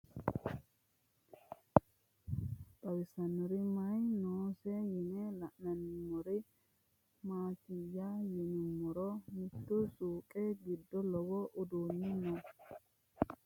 Tenni misile aleenni leelittanni nootti maa leelishshanno woy xawisannori may noosse yinne la'neemmori maattiya yinummoro mitte suuqe giddo lowo uduunni noo